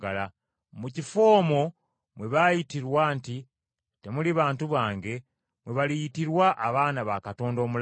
Mu kifo omwo mwe baayitirwa nti, “Temuli bantu bange, mwe baliyitirwa abaana ba Katonda omulamu.”